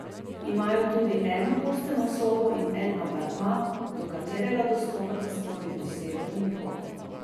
Imajo tudi eno enoposteljno sobo in en apartma, do katerega dostopate skozi posebni vhod.